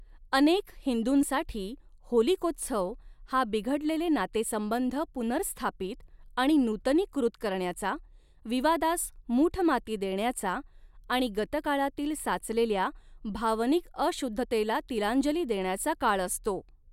अनेक हिंदूंसाठी होलिकोत्सव हा बिघडलेले नातेसंबंध पुनर्स्थापित आणि नूतनीकृत करण्याचा, विवादांस मूठमाती देण्याचा आणि गतकाळातील साचलेल्या भावनिक अशुद्धतेला तिलांजली देण्याचा काळ असतो.